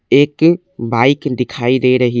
एक बाइक दिखाई दे रही--